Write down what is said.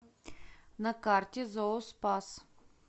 на карте зооспас